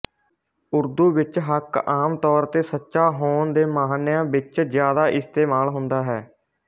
ਉਰਦੂ ਵਿੱਚ ਹੱਕ ਆਮ ਤੌਰ ਤੇ ਸੱਚਾ ਹੋਣ ਦੇ ਮਾਹਨਿਆਂ ਵਿੱਚ ਜ਼ਿਆਦਾ ਇਸਤੇਮਾਲ ਹੁੰਦਾ ਹੈ